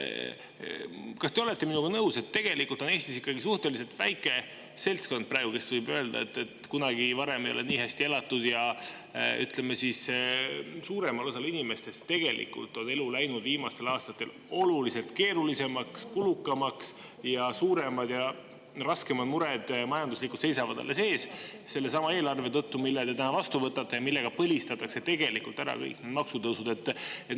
Kas te olete minuga nõus, et tegelikult on Eestis suhteliselt väike seltskond praegu neid, kes võivad öelda, et kunagi varem ei ole nii hästi elatud, aga suuremal osal inimestest on elu läinud viimastel aastatel oluliselt keerulisemaks ja kulukamaks ning suuremad ja raskemad majanduslikud mured seisavad alles ees sellesama eelarve tõttu, mille te täna vastu võtate ja millega põlistatakse kõik maksutõusud?